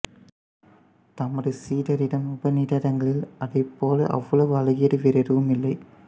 தமது சீடரிடம் உபநிடதங்களில் அதைப்போல அவ்வளவு அழகியது வேறு எதுவும் இல்லை